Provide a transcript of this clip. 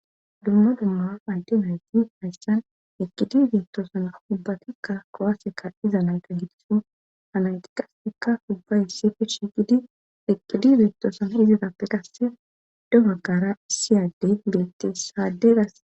dumma dumma maydemyayti hayssan ekkidizeettoosan ubbatikka kowaseka iza nande hidisu anaytiqastekka ubbay sifi shiqidi ekkidi zeettoosana izidappe qasse dogagara siyadde geettessaade gas